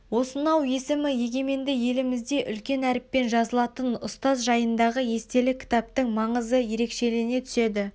осынау есімі егеменді елімізде үлкен әріппен жазылатын ұстаз жайындағы естелік кітаптың маңызы ерекшелене түседі